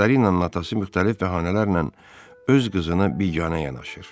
Viktorinanın atası müxtəlif bəhanələrlə öz qızına biganə yanaşır.